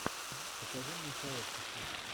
покажи мне сообщество